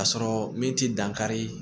Ka sɔrɔ min ti dankari